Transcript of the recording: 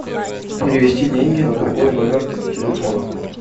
перевести деньги на другой номер телефона